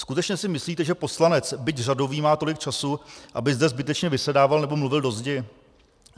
Skutečně si myslíte, že poslanec, byť řadový, má tolik času, aby zde zbytečně vysedával nebo mluvil do zdi?